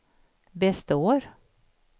består